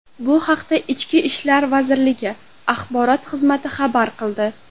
Bu haqda Ichki ishlar vazirligi axborot xizmati xabar qildi .